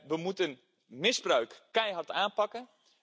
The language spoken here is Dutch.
We moeten misbruik keihard aanpakken.